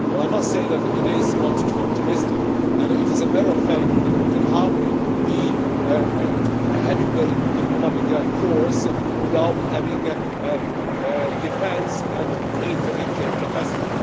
I must say that it is not too optimistic and it is a matter of fact that you can hardly be a heavyweight diplomatic force without having defence and military capacity.